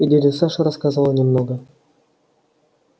и дядя саша рассказывал немного